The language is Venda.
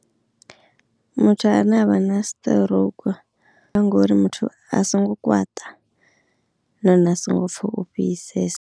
Muthu ane avha na stroke ngori muthu a songo kwaṱa nahone a songo pfha u fhisesa.